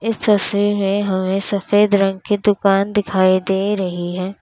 इस तस्वीर में हमें सफेद रंग की दुकान दिखाई दे रही है।